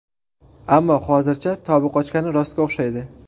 Ammo hozircha tobi qochgani rostga o‘xshaydi.